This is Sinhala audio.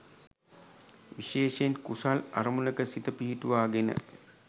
විශේෂයෙන් කුසල් අරමුණක සිත පිහිටුවා ගෙන